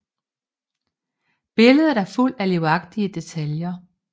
Billedet er fuldt af livagtige detaljer